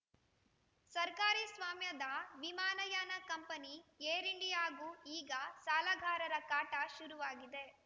ಸರ್ಕಾರಿ ಸ್ವಾಮ್ಯದ ವಿಮಾನಯಾನ ಕಂಪನಿ ಏರ್‌ ಇಂಡಿಯಾಗೂ ಈಗ ಸಾಲಗಾರರ ಕಾಟ ಶುರುವಾಗಿದೆ